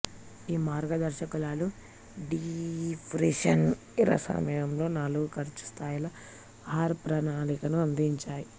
ఈ మార్గదర్శకాలు depression era సమయంలో నాలుగు ఖర్చు స్థాయిల ఆహారప్రణాళికను అందించాయి